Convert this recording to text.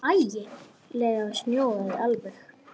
Ægi leg sjón alveg.